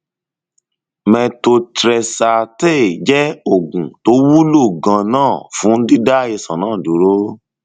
methotrexate jẹ oògùn tó wúlò ganan fún dídá àìsàn náà dúró